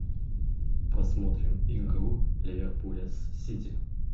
посмотрим игру ливерпуля с сити